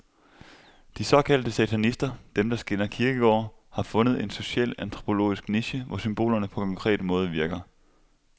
De såkaldte satanister, dem, der skænder kirkegårde, har fundet en socialantropologisk niche, hvor symbolerne på konkret måde virker.